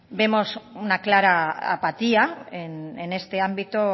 vemos una clara apatía en este ámbito